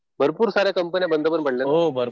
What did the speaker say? भरपूर साऱ्या कंपंन्या बंद पडल्या.